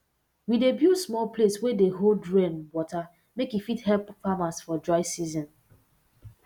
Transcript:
we dey build small place wey dey hold rain water make e fit help farmers for dry season